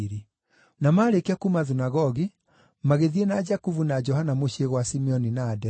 Na maarĩkia kuuma thunagogi, magĩthiĩ na Jakubu na Johana mũciĩ gwa Simoni na Anderea.